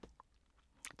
DR K